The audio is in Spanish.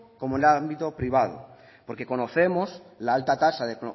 como en el ámbito privado porque conocemos la alta tasa de